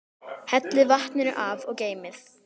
Hellið vatninu af og geymið.